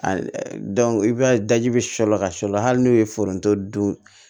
i b'a ye daji bɛ sɔ la ka sɔ la hali n'o ye foronto dun